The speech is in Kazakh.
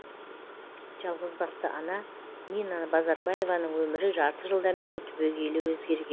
жалғызбасты ана нина базарбаеваның өмірі жарты жылдан бері түбегейлі өзгерген